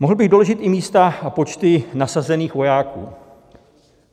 Mohl bych doložit i místa a počty nasazených vojáků.